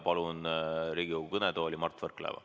Palun Riigikogu kõnetooli Mart Võrklaeva.